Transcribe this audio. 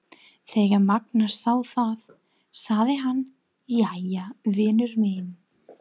Þegar Magnús sá það sagði hann: Jæja, vinur minn.